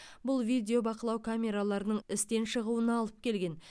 бұл видеобақылау камераларының істен шығуына алып келген